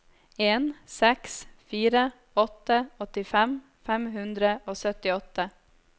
en seks fire åtte åttifem fem hundre og syttiåtte